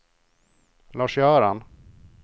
Lars-Göran